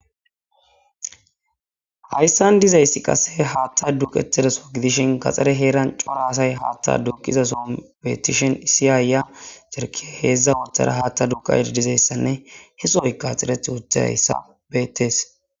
hayssan dizayssi qase haatta duqetedeso gidishen kaxxare heeran coraasay haatta duqiza soon betishen issi aaya serki heedzdza oothara haatta duka edizayssanne he sooyka xereth wuta hayssa bettees